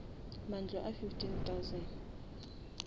mantlo a fifteen thousand